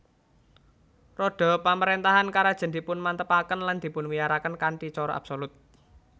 Rodha pamaréntahan karajan dipunmantepaken lan dipunwiyaraken kanthi cara absolut